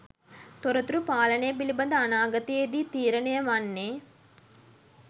තොරතුරු පාලනය පිළිබඳ අනාගතයේදී තීරණය වන්නේ